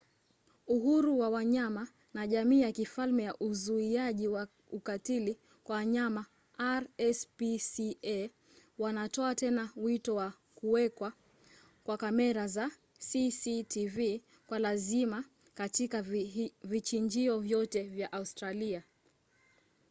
uhuru wa wanyama na jamii ya kifalme ya uzuiaji wa ukatili kwa wanyama rspca wanatoa tena wito wa kuwekwa kwa kamera za cctv kwa lazima katika vichinjio vyote vya australia